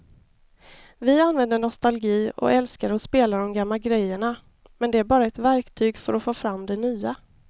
Vi använder nostalgi och älskar att spela de gamla grejerna men det är bara ett verktyg för att få fram det nya.